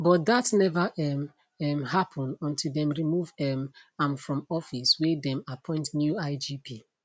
but dat neva um um happun until dem remove um am from office wey dem appoint new igp